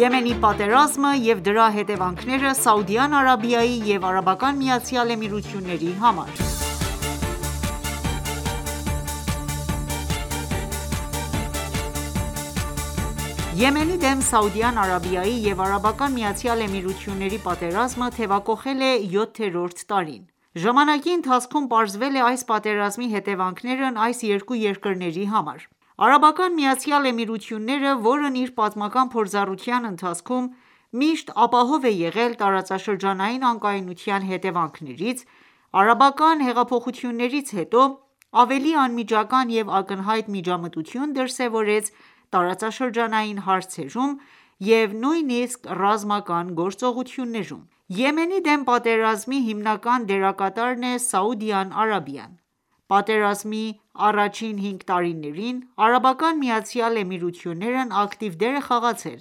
Եմենի պատերազմը եւ դրա հետևանքները Սաուդյան Արաբիայի և ԱՄԷ-ի համար Մարտ 15, 2022 15:33 Asia/Tehran Եմենի դեմ Սաուդյան Արաբիայի և Արաբական Միացյալ Էմիրությունների պատերազմը թևակոխել է յոթերորդ տարին: Ժամանակի ընթացքում պարզվել է այս պատերազմի հետեւանքներն այս երկու երկրների համար։ Արաբական Միացյալ Էմիրությունները ,որն իր պատմական փորձառության ընթացքում միշտ ապահով է եղել տարածաշրջանային անկայունության հետևանքներից ,արաբական հեղափոխություններից հետո ավելի անմիջական և ակնհայտ միջամտություն դրսևորեց տարածաշրջանային հարցերում և նույնիսկ ռազմական գործողություններում: Եմենի դեմ պատերազմի հիմնական դերակատարն է ՝Սաուդյան Արաբիան:Պատերազմի առաջին 5 տարիներին, Արաբական Միացյալ Էմիրություններն ակտիվ դեր է խաղացել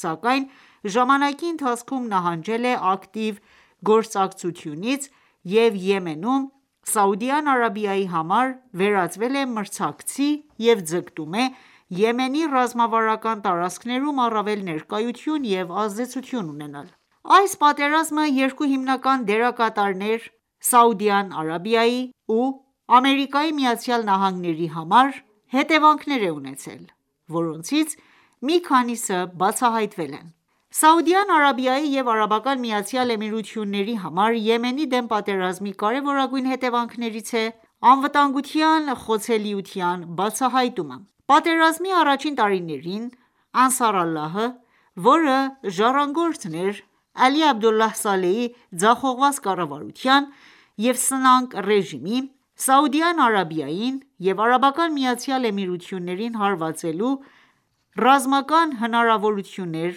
,սակայն ժամանակի ընթացքում, նահանջել է ակտիվ գործակցությունից և Եմենում ,Սաուդյան Արաբիայի համար վերածվել է մրցակցի և ձգտում է ՝ Եմենի ռազմավարական տարածքներում առավել ներկայություն և ազդեցություն ունենալ: Այս պատերազմը, երկու հիմնական դերակատարներ՝ Սաուդյան Արաբիայի ու ԱՄՆ-ի համար հետևանքներ է ունեցել ,որոնցից մի քանիսը բացահայտվել են: Սաուդյան Արաբիայի և ԱՄԷ-ի համար Եմենի դեմ պատերազմի կարևորագույն հետևանքներից է՝անվտանգության խոցելիության բացահայտումը։ Պատերազմի առաջին տարիներին Անսար Ալլահը, որը ժառանգորդն էր Ալի Աբդոլլահ Սալեհի ձախողված կառավարության և սնանկ ռեժիմի ,Սաուդյան Արաբիային և ԱՄԷ-ին հարվածելու ռազմական հնարավորություններ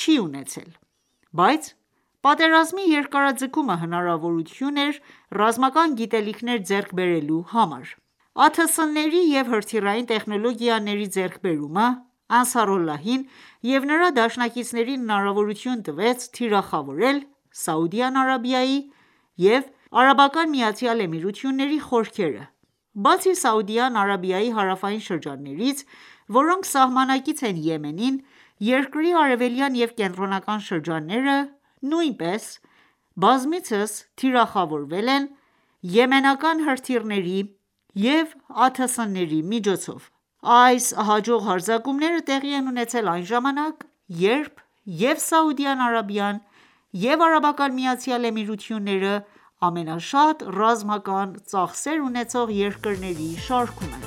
չի ունեցել ,բայց պատերազմի երկարաձգումը հնարավորություն էր ռազմական գիտելիքներ ձեռք բերելու համար։ ԱԹՍ-ների և հրթիռային տեխնոլոգիաների ձեռքբերումը, Անսար Ալլահին և նրա դաշնակիցներին հնարավորություն տվեց թիրախավորել Սաուդյան Արաբիայի և ԱՄԷ-ի խորքերը:Բացի Սաուդյան Արաբիայի հարավային շրջաններից, որոնք սահմանակից են Եմենին, երկրի արևելյան և կենտրոնական շրջանները նույնպես բազմիցս թիրախավորվել են եմենական հրթիռների և ԱԹՍ-ների միջոցով: Այս հաջող հարձակումները տեղի են ունեցել այն ժամանակ, երբ և՛ Սաուդյան Արաբիան, և՛ ԱՄԷ-ն ամենաշատ ռազմական ծախսեր ունեցող երկրների շարքում են։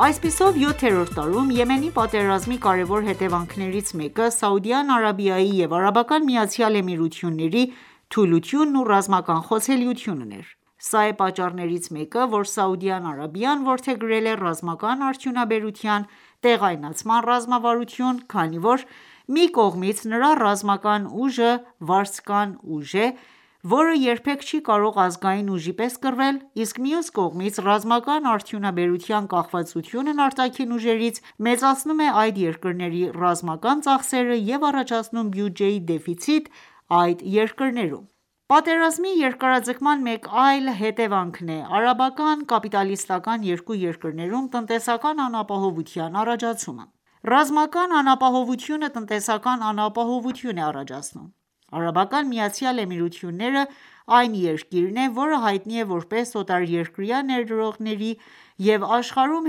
Այսպիսով, յոթերորդ տարում Եմենի պատերազմի կարեւոր հետեւանքներից մեկը Սաուդյան Արաբիայի եւ ԱՄԷ-ի թուլությունն ու ռազմական խոցելիությունն էր։ Սա է պատճառներից մեկը, որ Սաուդյան Արաբիան որդեգրել է ռազմական արդյունաբերության տեղայնացման ռազմավարություն, քանի որ մի կողմից նրա ռազմական ուժը վարձկան ուժ է, որը երբեք չի կարող ազգային ուժի պես կռվել, իսկ մյուս կողմից՝ ռազմական արդյունաբերության կախվածությունն արտաքին ուժերից մեծացնում է այդ երկրների ռազմական ծախսերը և առաջացնում բյուջեի դեֆիցիտ այդ երկրներում։ Պատերազմի երկարաձգման մեկ այլ հետևանքն է՝ արաբական կապիտալիստական ​​երկու երկրներում տնտեսական անապահովության առաջացումը: Ռազմական անապահովությունը տնտեսական անապահովություն է առաջացնում: ԱՄԷ-ն այն երկիրն է, որը հայտնի է ,որպես օտարերկրյա ներդրողների և աշխարհում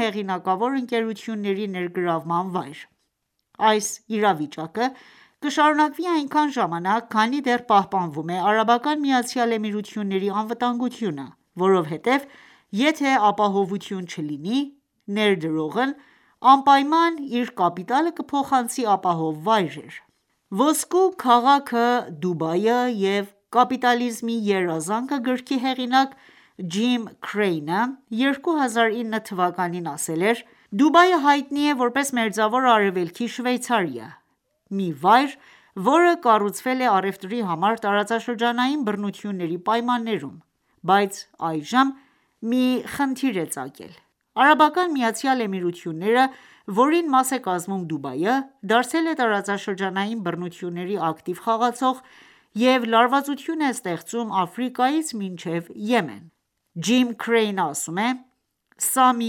հեղինակավոր ընկերությունների ներգրավման վայր: Այս իրավիճակը կշարունակվի այնքան ժամանակ, քանի դեռ պահպանվում է ԱՄԷ-ի անվտանգությունը, որովհետեւ եթե ապահովություն չլինի, ներդրողն անպայման իր կապիտալը կփոխանցի ապահով վայրեր։ «Ոսկու քաղաքը, Դուբայը և կապիտալիզմի երազանքը» գրքի հեղինակ Ջիմ Քրեյնը 2009թվականին ասել էր.«Դուբայը հայտնի է ,որպես Մերձավոր Արևելքի Շվեյցարիա, մի վայր, որը կառուցվել է առևտրի համար տարածաշրջանային բռնությունների պայմաններում, բայց այժմ մի խնդիր է ծագել:ԱՄԷ-ն, որին մաս է կազմում Դուբայը, դարձել է տարածաշրջանային բռնությունների ակտիվ խաղացող և լարվածություն է ստեղծում Աֆրիկայից մինչև Եմեն»։Ջիմ Քրեյնը ասում է.«Սա մի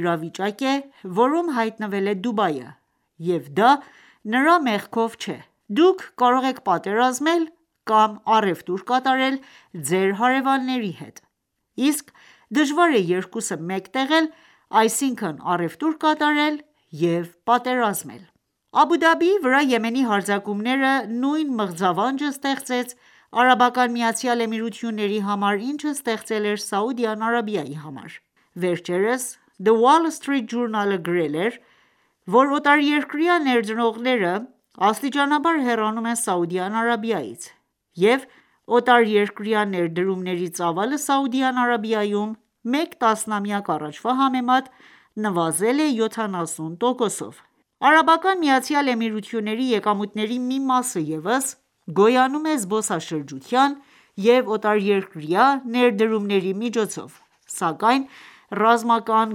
իրավիճակ է, որում հայտնվել է Դուբայը, և դա նրա մեղքով չէ։ Դուք կարող եք պատերազմել կամ առևտուր կատարել ձեր հարևանների հետ:Իսկ դժվար է երկուսը միատեղել ՝այսինքն առևտուր կատարել և պատերազմել»: Աբուդաբիի վրա Եմենի հարձակումները ,նույն մղձավանջը ստեղծեց Արաբական Միացյալ Էմիրությունների համար ,ինչը ստեղծել էր Սաուդյան Սրաբիայի համար: Վերջերս The Wall Street Journal-ը գրել էր, որ օտարերկրյա ներդրողները աստիճանաբար հեռանում են Սաուդյան Արաբիայից և օտարերկրյա ներդրումների ծավալը Սաուդյան Արաբիայում մեկ տասնամյակ առաջվա համեմատ նվազել է 70%-ով։ ԱՄԷ-ի եկամուտների մի մասը ևս գոյանում է զբոսաշրջության և օտարերկրյա ներդրումների միջոցով, սակայն ռազմական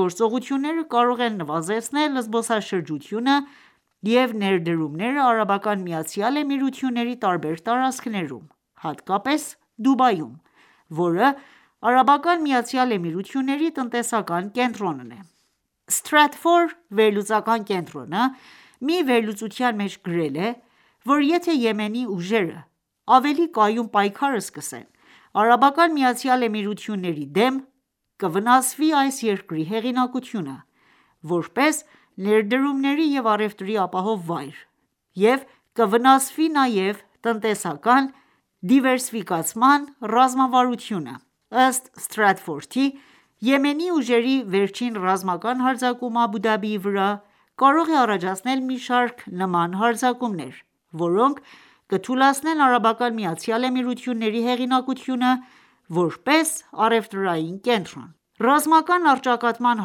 գործողությունները կարող են նվազեցնել զբոսաշրջությունը և ներդրումները ԱՄԷ-ի տարբեր տարածքներում, հատկապես Դուբայում, որը ԱՄԷ-ի տնտեսական կենտրոնն է:Stratfor վերլուծական կենտրոնը ,մի վերլուծության մեջ գրել է,որ եթե ​​Եմենի ուժերը ավելի կայուն պայքար սկսեն ԱՄԷ-ի դեմ, կվնասվի այս երկրի հեղինակությունը, որպես ներդրումների և առևտրի ապահով վայր և կվնասվի նաև տնտեսական դիվերսիֆիկացման ռազմավարությունը։ Ըստ Stratfor-ի՝ Եմենի ուժերի վերջին ռազմական հարձակումը Աբու Դաբիի վրա, կարող է առաջացնել մի շարք նման հարձակումներ, որոնք կթուլացնեն ԱՄԷ-ի հեղինակությունը ,որպես առևտրային կենտրոն:Ռազմական առճակատման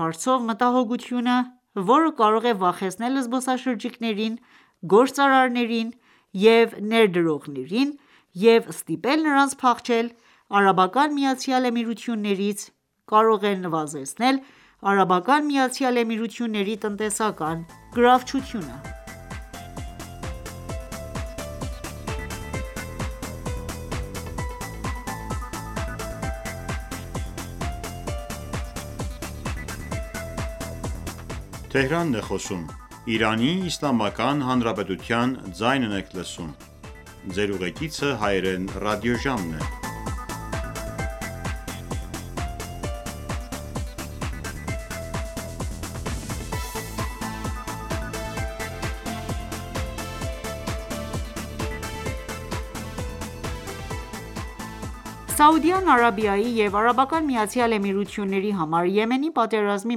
հարցով մտահոգությունը, որը կարող է վախեցնել զբոսաշրջիկներին, գործարարներին և ներդրողներին և ստիպել նրանց փախչել ԱՄԷ-ից ,կարող է նվազեցնել Արաբական Միացյալ Էմիրությունների տնտեսական գրավչությունը: Սաուդյան Արաբիայի և ԱՄԷ-ի համար Եմենի պատերազմի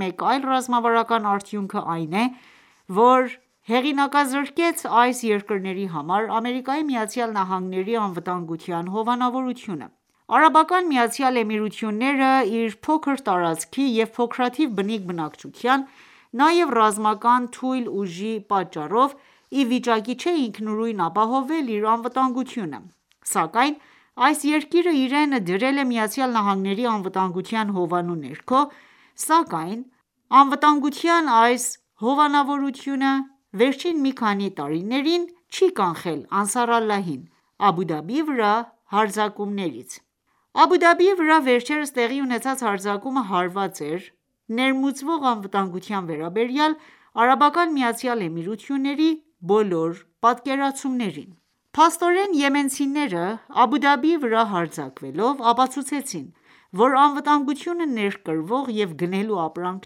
մեկ այլ ռազմավարական արդյունքը այն է, որ հեղինակազրկեց այս երկրների համար ԱՄՆ-ի անվտանգության հովանավորությունը: ԱՄԷ-ը, իր փոքր տարածքի և փոքրաթիվ բնիկ բնակչության ,նաև ռազմական թույլ ուժի պատճառով իվիճակի չէ ինքնուրույն ապահովել իր անվտանգությունը։ Այսպիսով, այս երկիրը իրեն դրել է ԱՄՆ-ի անվտանգության հովանու ներքո, սակայն անվտանգության այս հովանավորությունը վերջին մի քանի տարիներին չի կանխել Անսար Ալլահին, Աբու Դաբիի վրա հարձակումներից :Աբու Դաբիի վրա վերջերս տեղի ունեցած հարձակումը հարված էր ներմուծվող անվտանգության վերաբերյալ ԱՄԷ-ի բոլոր պատկերացումներին:Փաստորեն, եմենցիները, Աբու Դաբիի վրա հարձակվելով ապացուցեցին, որ անվտանգությունը ներկրվող և գնելու ապրանք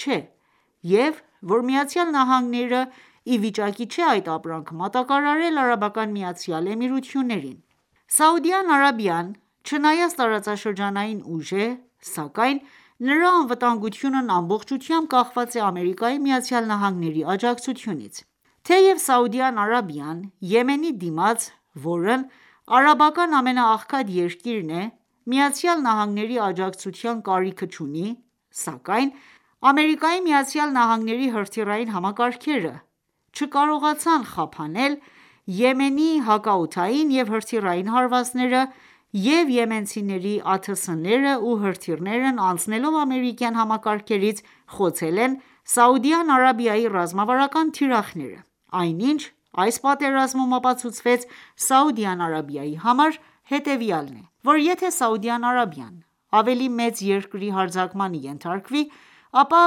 չէ, և որ ԱՄՆ-ը ի վիճակի չէ այդ ապրանքը մատակարարել ԱՄԷ-ին։ Սաուդյան Արաբիան չնայած տարածաշրջանային ուժ է,սակայն նրա անվտանգությունն ամբողջությամբ կախված է ԱՄՆ-ի աջակցությունից:Թեև Սաուդյան Արաբիան, Եմենի դիմաց ,որն արաբական ամենաաղքատ երկիրն է ԱՄՆ-ի աջակցության կարիքը չունի, սակայն ԱՄՆ-ի հրթիռային համակարգերը չկարողացան խափանել Եմենի հակաօդային և հրթիռային հարվածները և Եմենցիների ԱԹՍ-ները ու հրթիռներն անցնելով ամերիկյան համակարգերից, խոցել են Սաուդյան Արաբիայի ռազմավարական թիրախները։ Այն ինչ այս պատերազմում ապացուցվեց Սաուդյան Արաբիայի համար ,հետևյալն է, որ եթե Սաուդյան Արաբիան ավելի մեծ երկրի հարձակմանը ենթարկվի ապա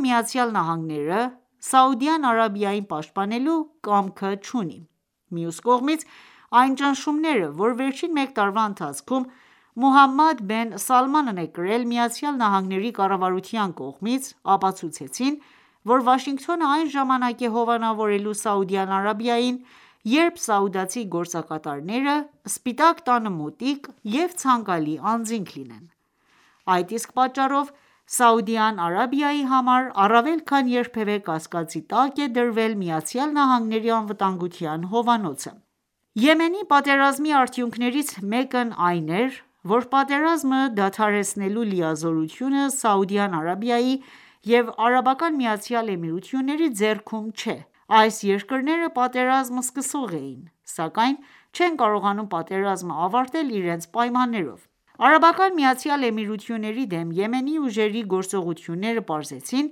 ԱՄՆ-ը Սաուդյան Արաբիային պաշտպանելու կամքը չունի:Մյուս կողմից, այն ճնշումները, որ վերջին մեկ տարվա ընթացքում, Մոհամմադ բեն Սալմանն է կրել է ԱՄՆ-ի կառավարության կողմից ,ապացուցեցին որ Վաշինգտոնը այն ժամանակ է հովանավորելու Սաուդյան Արաբիային ,երբ սաուդացի գործակատաները ,Սպիտակ տանը մոտիկ և ցանկալի անձինք լինեն: Այդ իսկ պատճառով Սաուդյան Արաբիայի համար առավել քան երբևէ կասկածի տակ է դրվել ԱՄՆ-ի անվտանգության հովանոցը։ Եմենի պատերազմի արդյունքներից մեկն այն էր, որ պատերազմը դադարեցնելու լիազորությունը Սաուդյան Արաբիայի և ԱՄԷ-ի ձեռքում չէ:Այս երկրները պատերազմ սկսող էին ,սակայն չեն կարողանում պատերազմը ավարտել իրենց պայմաններով: ԱՄԷ-ի դեմ Եմենի ուժերի գործողությունները պարզեցին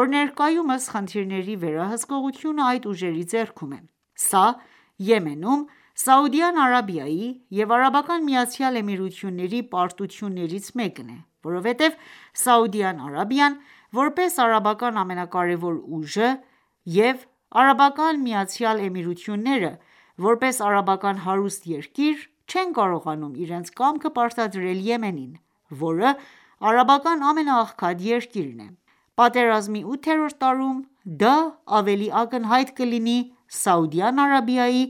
,որ ներկայումս խնդիրների վերահսկողությունը այդ ուժերի ձեռքում է:Սա ,Եմենում, Սաուդյան Արաբիայի և ԱՄԷ-ի պարտություններից մեկն է,որովհետև Սաուդյան Արաբիան ,որպես արաբական ամենակարևոր ուժը և ԱՄԷ-ն, որպես արաբական հարուստ երկիր չեն կարողանում իրենց կամքը պարտադրել Եմենին, որը արաբական ամենաաղքատ երկիրն է: Պատերազմի ութերորդ տարում դա ավելի ակնհայտ կլինի Սաուդյան Արաբիայի